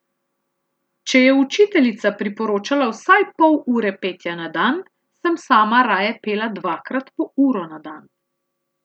Če je učiteljica priporočala vsaj pol ure petja na dan, sem sama raje pela dvakrat po uro na dan.